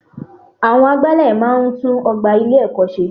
Àwọn agbálẹ̀ máa n tún ogbà ilé ẹ̀kọ́ ṣe